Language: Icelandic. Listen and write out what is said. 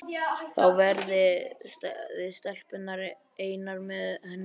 Þá verðið þið stelpurnar einar með henni.